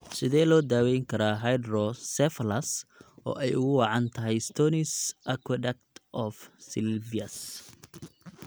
Sidee loo daweyn karaa hydrocephalus oo ay ugu wacan tahay stenosis aqueduct of sylvius?